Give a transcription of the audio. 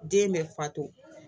Den bɛ fatɔ